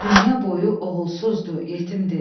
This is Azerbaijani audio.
Dünya boyu oğulsuzdur, yetimdir.